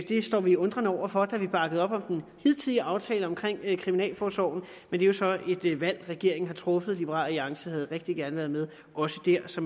det står vi undrende over for da vi bakkede op om den hidtidige aftale om kriminalforsorgen men det er så et valg regeringen har truffet liberal alliance havde rigtig gerne været med også der så